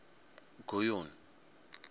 guyuni